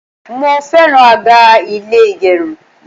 Mo fẹ́ràn àga ilé ìgẹrun.